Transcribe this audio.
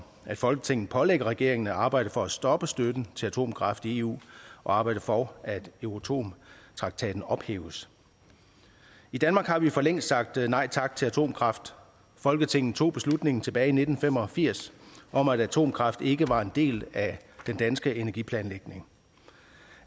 at folketinget pålægger regeringen at arbejde for at stoppe støtten til atomkraft i eu og at arbejde for at euratom traktaten ophæves i danmark har vi forlængst sagt nej tak til atomkraft folketinget tog beslutningen tilbage i nitten fem og firs om at atomkraft ikke var en del af den danske energiplanlægning